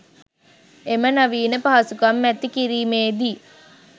එම නවීන පහසුකම් ඇති කිරීමේදී